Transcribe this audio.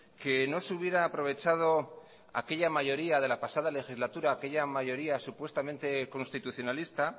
que no se hubiera aprovechado aquella mayoría de la pasada legislatura aquella mayoría supuestamente constitucionalista